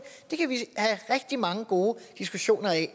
det kan vi have rigtig mange gode diskussioner af